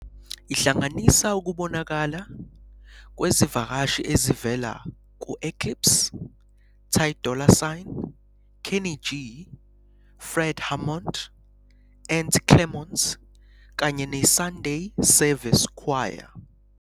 Ihlanganisa ukubonakala kwezivakashi ezivela ku- Clipse, Ty Dolla Sign, Kenny G, Fred Hammond, Ant Clemons, kanye ne- Sunday Service Choir.